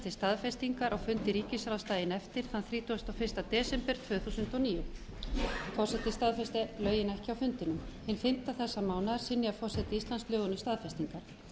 til staðfestingar á fundi ríkisráðs daginn eftir þann þrítugasta og fyrsta desember tvö þúsund og níu forseti staðfesti lögin ekki á fundinum hinn fimmti þessa mánaðar synjaði forseti íslands lögunum staðfestingar